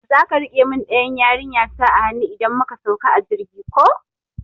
Zaka rike mun ɗayan yarinta a hanu idan muka sauka a jirgi ko?